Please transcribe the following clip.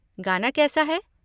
गाना कैसा है?